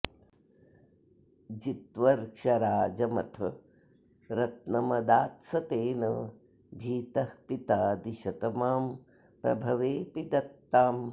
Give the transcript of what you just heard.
जित्वर्क्षराजमथ रत्नमदात्स तेन भीतः पितादिशत मां प्रभवेऽपि दत्ताम्